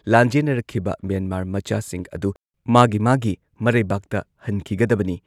ꯂꯥꯟꯖꯦꯟꯅꯔꯛꯈꯤꯕ Myanmar ꯃꯆꯥꯁꯤꯡ ꯑꯗꯨ ꯃꯥꯒꯤ ꯃꯥꯒꯤ ꯃꯔꯩꯕꯥꯛꯇ ꯍꯟꯈꯤꯒꯗꯕꯅꯤ ꯫